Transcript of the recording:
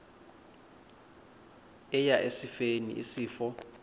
eya esifeni isifo